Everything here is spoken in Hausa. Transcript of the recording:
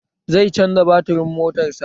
Zai canza baturin motar sa